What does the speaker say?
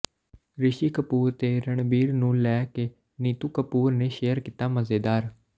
ਰਿਸ਼ੀ ਕਪੂਰ ਤੇ ਰਣਬੀਰ ਨੂੰ ਲੈ ਕੇ ਨੀਤੂ ਕਪੂਰ ਨੇ ਸ਼ੇਅਰ ਕੀਤਾ ਮਜ਼ੇਦਾਰ